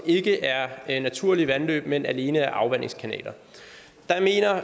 ikke er naturlige vandløb men alene er afvandingskanaler